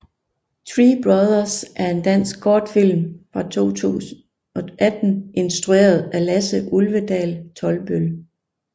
Three brothers er en dansk kortfilm fra 2018 instrueret af Lasse Ulvedal Tolbøll